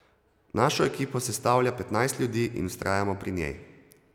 Našo ekipo sestavlja petnajst ljudi in vztrajamo pri njej.